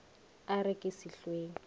e re ke se hlweng